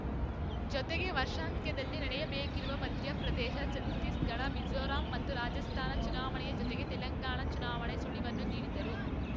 ಜೊತೆಗೆ ವರ್ಷಾಂತ್ಯದಲ್ಲಿ ನಡೆಯಬೇಕಿರುವ ಮಧ್ಯಪ್ರದೇಶ ಛತ್ತೀಸ್‌ಗಢ ಮಿಜೋರಾಂ ಮತ್ತು ರಾಜಸ್ಥಾನ ಚುನಾವಣೆಯ ಜೊತೆಗೇ ತೆಲಂಗಾಣ ಚುನಾವಣೆ ಸುಳಿವನ್ನೂ ನೀಡಿದರು